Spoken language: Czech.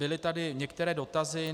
Byly tady některé dotazy.